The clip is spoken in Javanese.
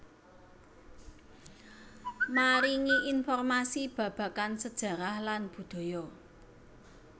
Maringi informasi babagan sejarah lan budaya